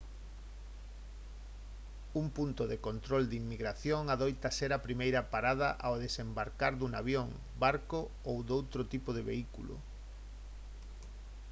un punto de control de inmigración adoita ser a primeira parada ao desembarcar dun avión barco ou doutro tipo de vehículo